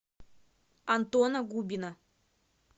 антона губина